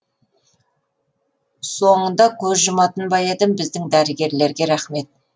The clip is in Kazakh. соңында көз жұматын ба едім біздің дәрігерлерге рахмет